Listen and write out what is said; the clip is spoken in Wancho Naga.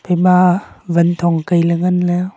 ema wanthong kai ley ngan ley.